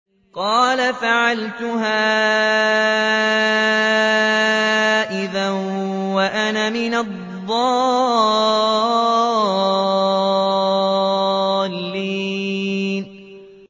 قَالَ فَعَلْتُهَا إِذًا وَأَنَا مِنَ الضَّالِّينَ